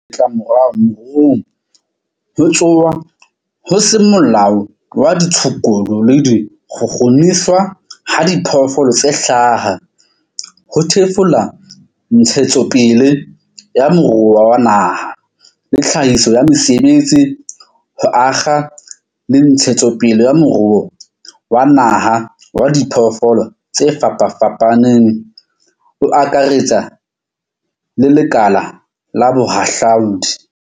Ditlamorao moruong. Ho tsonwa ho seng molaong ha ditshukudu le ho kgukguniswa ha diphoofolo tse hlaha ho thefula ntshetsopele ya moruo wa naha le tlhahiso ya mesebetsi, ho akga le ntshetsopele ya moruo wa naha wa diphoofolo tse fapafapaneng o akaretsang le lekala la bohahlaudi.